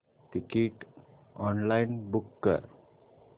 ticket online book कर